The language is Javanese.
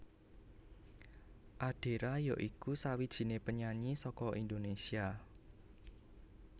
Adera ya iku sawijiné penyanyi saka Indonésia